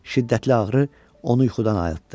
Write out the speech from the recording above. Şiddətli ağrı onu yuxudan ayıltdı.